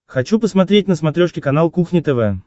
хочу посмотреть на смотрешке канал кухня тв